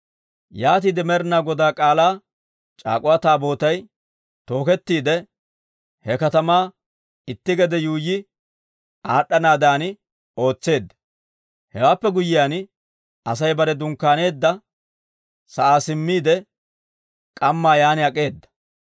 Yaatiide Med'ina Godaa K'aalaa c'aak'uwa Taabootay tookettiide, he katamaa itti gede yuuyyi aad'd'anaadan ootseedda. Hewaappe guyyiyaan Asay bare dunkkaaneedda sa'aa simmiide, k'ammaa yaan ak'eeda.